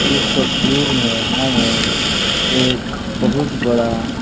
इस तस्वीर में हमें एक बहुत बड़ा --